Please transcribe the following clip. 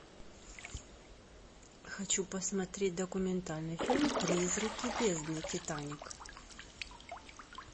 хочу посмотреть документальный фильм призраки бездны титаник